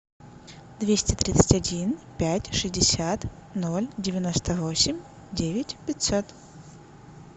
двести тридцать один пять шестьдесят ноль девяносто восемь девять пятьсот